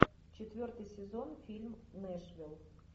четвертый сезон фильм нэшвилл